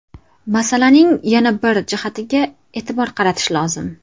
Masalaning yana bir jihatiga e’tibor qaratish lozim.